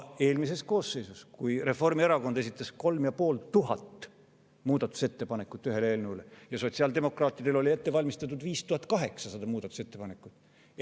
Eelmises koosseisus, kui Reformierakond esitas 3500 muudatusettepanekut ühe eelnõu kohta ja sotsiaaldemokraatidel oli ette valmistatud 5800 muudatusettepanekut.